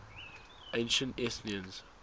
ancient athenians